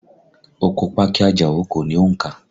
Oko pákí i Àjàó kò ní òǹkà